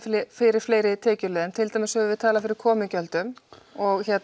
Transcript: fyrir fleiri tekjuleiðum til dæmis höfum við talað fyrir komugjöldum og